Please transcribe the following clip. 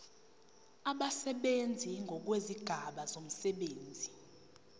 abasebenzi ngokwezigaba zomsebenzi